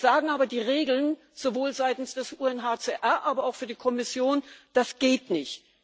Jetzt sagen aber die Regeln sowohl seitens des UNHCR, aber auch für die Kommission Das geht nicht.